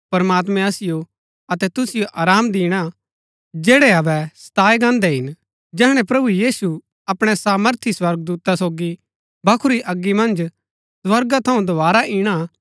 प्रमात्मैं असिओ अतै तुसिओ आराम दिणा जैड़ै अबै सताये गान्दै हिन जैहणै प्रभु यीशु अपणै सामर्थी स्वर्गदूता सोगी भखुरी अगी मन्ज स्वर्गा थऊँ दोवारा इणा